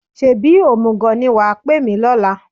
Ṣebí òmùgọ̀ ni wà á pè mí lọ́la?